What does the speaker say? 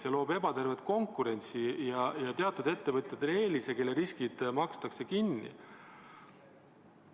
See loob ebatervet konkurentsi ja teatud ettevõtjatele eelise, sest nende riskid makstakse kinni.